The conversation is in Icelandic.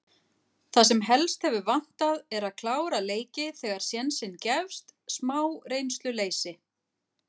Það sem helst hefur vantað er að klára leiki þegar sénsinn gefst. smá reynsluleysi.